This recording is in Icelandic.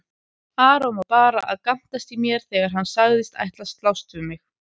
Aron var bara að gantast í mér þegar hann sagðist ætla að slást við mig.